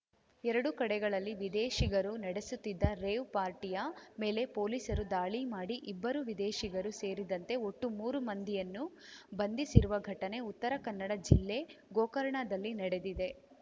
ಎರಡು ಕಡೆಗಳಲ್ಲಿ ವಿದೇಶಿಗರು ನಡೆಸುತ್ತಿದ್ದ ರೇವ್‌ ಪಾರ್ಟಿಯ ಮೇಲೆ ಪೊಲೀಸರು ದಾಳಿ ಮಾಡಿ ಇಬ್ಬರು ವಿದೇಶಿಗರು ಸೇರಿದಂತೆ ಒಟ್ಟು ಮೂರು ಮಂದಿಯನ್ನು ಬಂಧಿಸಿರುವ ಘಟನೆ ಉತ್ತರ ಕನ್ನಡ ಜಿಲ್ಲೆ ಗೋಕರ್ಣದಲ್ಲಿ ನಡೆದಿದೆ